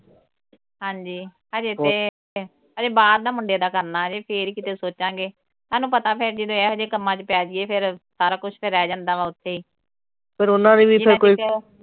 ਹਾਂਜੀ ਅਜੇ ਤੇ ਅਜੇ ਬਾਹਰ ਦਾ ਮੁੰਡੇ ਦਾ ਕਰਨਾ। ਅਜੇ ਫੇਰ ਈ ਕਿਤੇ ਸੋਚਾਂਗੇ। ਤੁਹਾਨੂੰ ਪਤਾ ਫਿਰ ਜਦੋਂ ਇਹੋ ਜਿਹੇ ਕੰਮਾਂ ਚ ਪਏ ਜਾਈਏ ਫਿਰ ਸਾਰਾ ਕੁਛ ਫਿਰ ਰਹਿ ਜਾਂਦਾ ਵਾ ਉੱਥੇ ਈ।